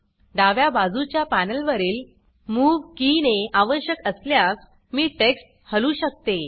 डाव्या बाजूच्या पॅनल वरील मूव की ने आवश्यक असल्यास मी टेक्स्ट हलवू शकते